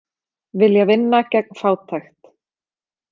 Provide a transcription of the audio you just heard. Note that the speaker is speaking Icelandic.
Vilja vinna gegn fátækt